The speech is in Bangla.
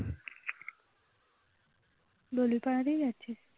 আছে